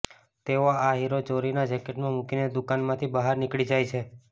તેઓ આ હીરો ચોરીને જેકેટમાં મૂકીને દુકાનમાંથી બહાર નીકળી જાય છે